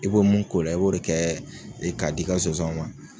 I b'o mun k'o la i b'o de kɛ k'a di i ka sonsanw ma.